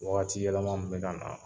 Waatiyɛlɛma min bɛ ka na